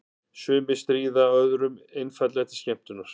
Sumir stríða öðrum einfaldlega til skemmtunar.